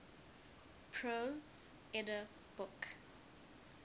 prose edda book